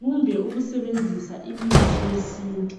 kumbe ukusebenzisa imithi yesintu.